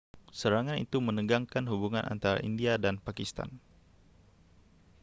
serangan itu menegangkan hubungan antara india dan pakistan